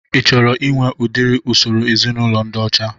Ị chọrọ inwe udiri usoro ezinaụlọ ndị ọcha?